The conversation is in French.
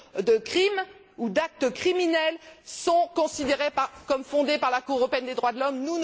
de crimes ou d'actes criminels sont considérées comme fondées par la Cour européenne des droits de l'homme.